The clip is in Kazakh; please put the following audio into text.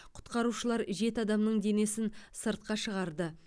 құтқарушылар жеті адамның денесін сыртқа шығарды